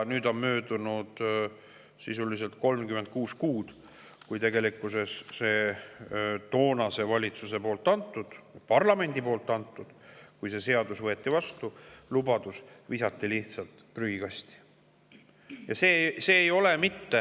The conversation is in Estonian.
Möödus sisuliselt 36 kuud sellest, kui see seadus võeti vastu, ning see toonase valitsuse ja parlamendi antud lubadus visati lihtsalt prügikasti.